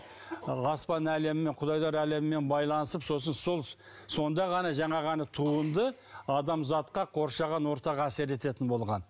ы аспан әлемімен құдайлар әлемімен байланысып сосын сол сонда ғана жаңағы ана туынды адамзатқа қоршаған ортаға әсер ететін болған